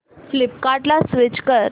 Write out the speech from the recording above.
फ्लिपकार्टं ला स्विच कर